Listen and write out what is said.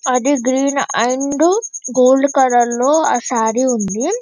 అది green and gold colour లో ఆ సారీ ఉంది.